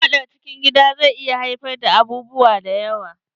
Fadar cikin gida zai iya haifar da abubuwa da yawa.